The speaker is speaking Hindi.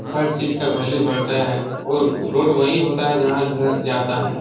हर चीज़ का वैल्यू बढ़ता है और रोड वहीं होता है जहाँ घर जाता है।